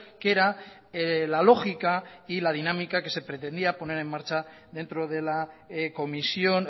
que era la lógica y la dinámica que se pretendía poner en marcha dentro de la comisión